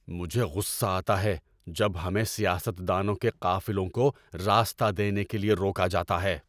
مجھے غصہ آتا ہے جب ہمیں سیاست دانوں کے قافلوں کو راستہ دینے کے لیے روکا جاتا ہے۔